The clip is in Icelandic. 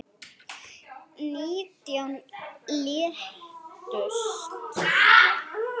Nítján létust.